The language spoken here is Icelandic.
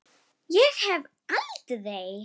Ég hef aldrei.